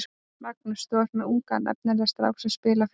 Magnús: Þú er með ungan efnilegan strák sem spilar fyrir þig?